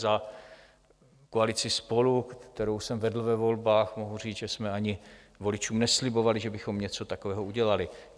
Za koalici SPOLU, kterou jsem vedl ve volbách, mohu říct, že jsme ani voličům neslibovali, že bychom něco takového udělali.